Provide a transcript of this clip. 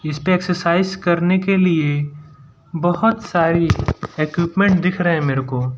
इसपे एक्सरसाइज के लिए बहोत सारी इक्विपमेंट दिख रहें मेरे को --